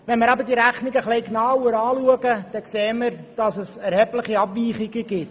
Wenn wir nun aber diese Rechnung etwas genauer anschauen, sehen wir, dass es erhebliche Abweichungen gibt.